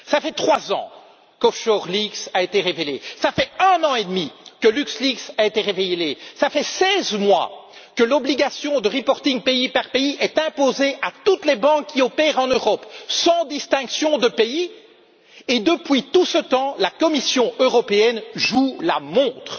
Cela fait trois ans qu'Offshore Leaks a été révélé, cela fait un an et demi que LuxLeaks a été révélé, cela fait seize mois que l'obligation de reporting pays par pays est imposée à toutes les banques qui opèrent en Europe, sans distinction de pays et, depuis tout ce temps, la Commission européenne joue la montre.